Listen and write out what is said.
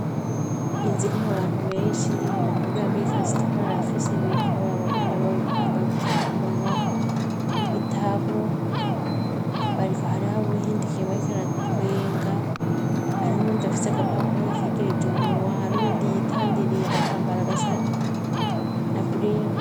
Iyi nzu irimwo abantu benshi, umukobwa yambaye ikanzu itukura kandi afise imikro abagore bambaye udufukamunwa. Ibitabo bariko hari ho abahindukinye bariko baratwenga hariho n'uwundi afise agapapuro akegereje umunywa hari n'uwundi yitandiriye agatambara gasa na bring.